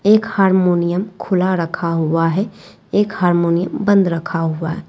एक हारमोनियम खुला रखा हुआ है एक हारमोनियम बंद रखा हुआ है।